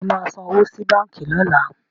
Ṣé o máa san owó sí báǹkì lọ́la?